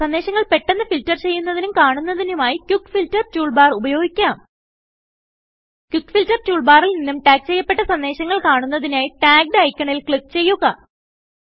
സന്ദേശങ്ങൾ പെട്ടന്ന് ഫിൽറ്റർ ചെയ്യുന്നതിനും കാണുന്നതിനുമായ് ക്വിക്ക് ഫിൽട്ടർ ടൂൾബാർ ഉപയോഗിക്കാം ക്വിക്ക് ഫിൽട്ടർ toolbarൽ നിന്നും ടാഗ് ചെയ്യപ്പെട്ട സന്ദേശങ്ങൾ കാണുന്നതിനായ് Taggedഐക്കണിൽ ക്ലിക്ക് ചെയ്യുക